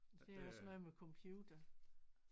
Det er også noget med computer